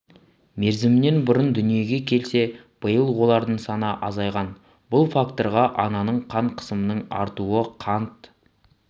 мерзімінен бұрын дүниеге келсе биыл олардың саны азайған бұл факторға ананың қан қысымының артуы қант